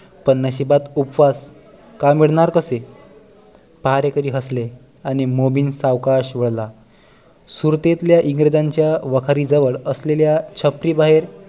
पण नशिबात उपास, काम मिळणार कसे पहारेकरी हसले मोमीन सावकाश बोलला सुरतेच्या इंग्रजांच्या वखारी जवळ असलेल्या छपरी बाहेर